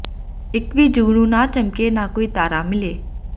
ਇੱਕ ਵੀ ਜੁਗਨੂੰ ਨਾ ਚਮਕੇ ਨਾ ਕੋਈ ਤਾਰਾ ਮਿਲੇ